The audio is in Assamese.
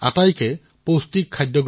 এয়া আপোনালোকৰ বাবে অতিশয় উপযোগী হব পাৰে